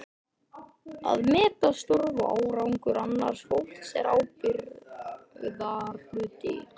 Að meta störf og árangur annars fólks er ábyrgðarhluti.